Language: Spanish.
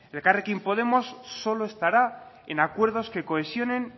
elkarrekin podemos solo estará en acuerdos que cohesionen